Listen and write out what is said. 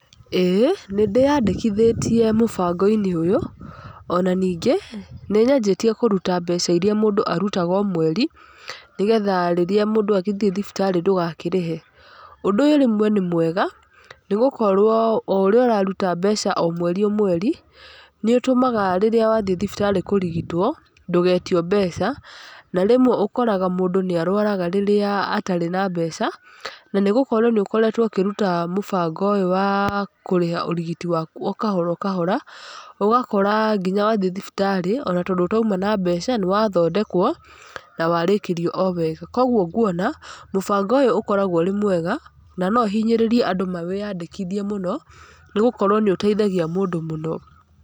ĩĩ nĩndĩyandĩkithĩtie mũbango-inĩ ũyũ, ona ningĩ nĩnyanjĩtie kũruta mbeca iria mũndũ arutaga o mweri, nĩgetha rĩrĩa mũndũ athiĩ thibitarĩ ndũgakĩrĩhe. Ũndũ ũyũ rĩmwe nĩ mwega nĩgũkorwo o ũrĩa ũraruta mbeca o mweri o mweri nĩũtũmaga rĩrĩa wathiĩ thibitarĩ kũrigitwo ndũgetio mbeca, na rĩmwe ũkoraga mũndu nĩ arwaraga rĩrĩa atarĩ na mbeca. Na nĩgũkorwo nĩ ũkoretwo ũkĩruta mũbango ũyũ wa kũrĩha ũrigiti waku o kahora o kahora, ũgakora ona tondũ wathiĩ thibitarĩ ũtauma na mbeca nĩwathondekwo na warĩkĩrio o wega. Koguo nguona mũbango ũyũ ũkoragwo wĩ mwega na no hinyĩrĩrie andũ mawĩyandĩkithie mũno, nĩgũkorwo nĩ ũteithagia mũndũ mũno.